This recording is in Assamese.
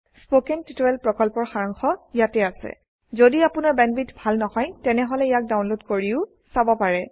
স্পোকেন টিউটোৰিয়েল প্ৰকল্পৰ সাৰাংশ ইয়াত আছে যদি আপোনাৰ বেণ্ডৱিডথ ভাল নহয় তেনেহলে ইয়াক ডাউনলোড কৰি চাব পাৰে